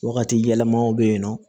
Wagati yɛlɛmaw bɛ yen nɔ